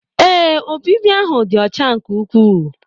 Ebe obibi ahụ dị ọcha nke ukwuu.